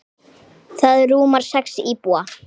Það rúmar sex íbúa.